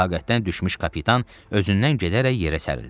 Taqətdən düşmüş kapitan özündən gedərək yerə sərildi.